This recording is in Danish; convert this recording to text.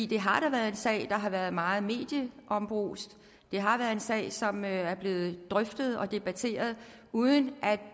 det har da været en sag der har været meget medieombrust det har været en sag som er blevet drøftet og debatteret uden at